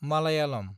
Malayalam